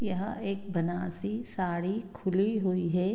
यह एक बनारसी साड़ी खुली हुई है।